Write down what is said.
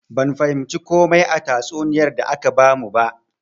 Ban fahimci komai a tatsuniyar da aka bamu ba.